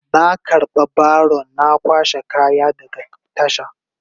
Na karba baron na kwashe kaya daga tasha.